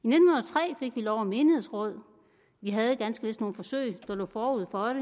i lov om menighedsråd vi havde ganske vist nogle forsøg der lå forud for